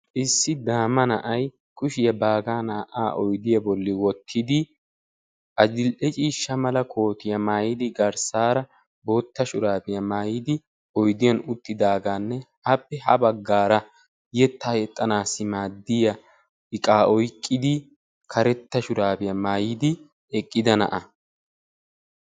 Issi daama na'ay kushiya baagaa naa"aa oyddiya bolli wottidi adil"ee ciishsha mala kootiya maayidi garssaara bootta shuraabiya maayidi oyddiyan uttidaagaanne appe ha baggaara yettaa yexxanaassi maadiya iqaa oyqqidi karetta shuraabiya maayidi eqqida na'a.